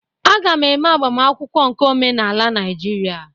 A ga m eme agbamakwụkwọ nke omenala Naijiria.